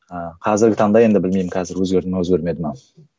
ыыы қазіргі таңда енді білмеймін қазір өзгерді ме өзгермеді ме